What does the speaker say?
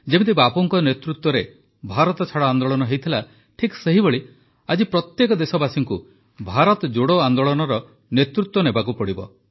ଯେମିତି ବାପୁଙ୍କ ନେତୃତ୍ୱରେ ଭାରତଛାଡ଼ ଆନ୍ଦୋଳନ ହୋଇଥିଲା ଠିକ୍ ସେହିଭଳି ଆଜି ପ୍ରତ୍ୟେକ ଦେଶବାସୀଙ୍କୁ ଭାରତ ଯୋଡ଼ୋ ଆନ୍ଦୋଳନର ନେତୃତ୍ୱ ନେବାକୁ ହେବ